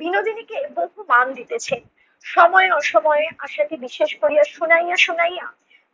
বিনোদিনীকে বহু মান দিতেছে। সময়ে অসময়ে আশাকে বিশেষ করিয়া শুনাইয়া শুনাইয়া